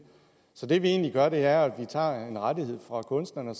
så det vi egentlig gør med det her er at vi tager en rettighed fra kunstneren